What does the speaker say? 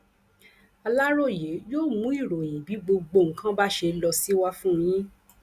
aláròye yóò mú ìròyìn bí gbogbo nǹkan bá ṣe ló sì wà fún yín